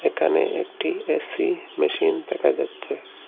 এখানে একটি AC machine দেখা যাচ্ছে।